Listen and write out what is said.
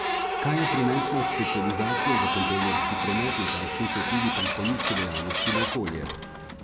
Kaj je prinesla specializacija za kontejnerski promet in kakšni so vplivi pristaniške dejavnosti na okolje?